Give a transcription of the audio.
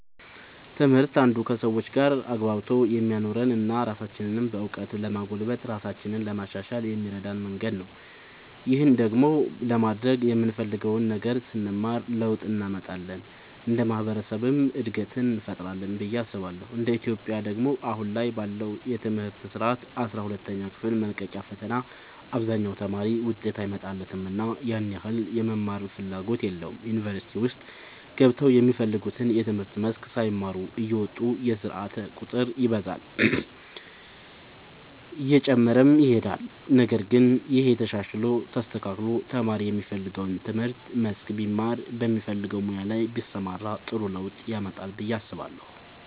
ትምህርት አንዱ ከሰዎች ጋር አግባብቶ የሚያኖረን እና ራሳችንንም በእውቀት ለማጎልበት ራሳችንን ለማሻሻል የሚረዳን መንገድ ነው። ይህን ደግሞ ለማድረግ የምንፈልገውን ነገር ስንማር ለውጥ እንመጣለን እንደ ማህበረሰብም እድገትን እንፈጥራለን ብዬ አስባለሁ እንደ ኢትዮጵያ ደግሞ አሁን ላይ ባለው የትምህርት ስርዓት አስራ ሁለተኛ ክፍል መልቀቂያ ፈተና አብዛኛው ተማሪ ውጤት አይመጣለትምና ያን ያህል የመማርም ፍላጎት የለውም ዩኒቨርሲቲ ውስጥ ገብተውም የሚፈልጉትን የትምህርት መስክ ሳይማሩ እየወጡ የስርዓት ቁጥር ይበዛል እየጨመረም ይሄዳል ነገር ግን ይሄ ተሻሽሎ ተስተካክሎ ተማሪ የሚፈልገውን የትምህርት መስክ ቢማር በሚፈልገው ሙያ ላይ ቢሰማራ ጥሩ ለውጥ ያመጣል ብዬ አስባለሁ።